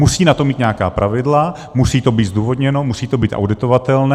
Musí na to mít nějaká pravidla, musí to být zdůvodněno, musí to být auditovatelné.